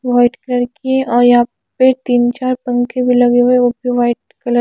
white colour के और यहां पे तीन चार पंखे भी लगे हुए वो भी व्हाइट कलर --